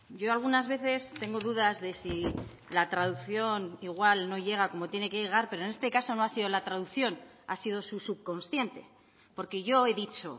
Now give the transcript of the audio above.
yo algunas veces tengo dudas de si la traducción igual no llega como tiene que llegar pero en este caso no ha sido la traducción ha sido su subconsciente porque yo he dicho